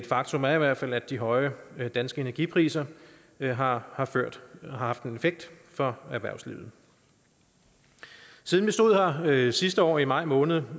faktum er i hvert fald at de høje danske energipriser har haft en effekt for erhvervslivet siden vi stod her sidste år i maj måned